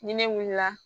Ni ne wulila